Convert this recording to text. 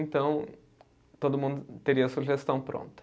Então, todo mundo teria a sugestão pronta.